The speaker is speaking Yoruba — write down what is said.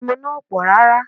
Ẹmu náà ò pọ̀ rárá